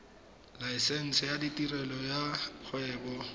laesense ya tirelo ya kgwebo